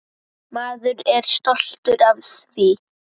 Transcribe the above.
Maður er stoltur af því.